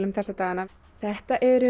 þessa dagana þetta eru